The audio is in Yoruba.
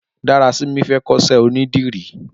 Darasimi fè kọṣẹ ónìdìrí